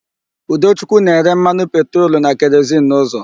Udochukwu na-ere mmanụ petrolu na kerozin n'ụzọ.